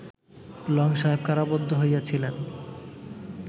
long সাহেব কারাবদ্ধ হইয়াছিলেন